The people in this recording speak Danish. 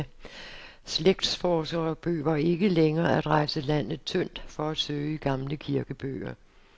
Slægtsforskere behøver ikke længere at rejse landet tyndt for at søge i gamle kirkebøger.